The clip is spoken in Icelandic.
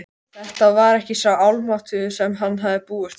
Þetta var ekki sá Almáttugi sem hann hafði búist við.